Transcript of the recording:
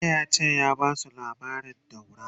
jiya yace ya Basu labarin daura!